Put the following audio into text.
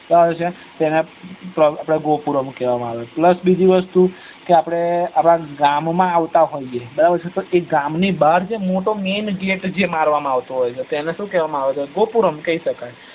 બરાબર છે તો તેને ગોકુરમ કેવા આવે છે એને બીજી વસ્તુ આપડે ગામમાં આવતા હોઈએ અને ગામની બાર જે મોટો main gate જે મારવામાં આવે છે એને સુ કેવા માં આવે છે એન ગોકુરમ કઇ સકાય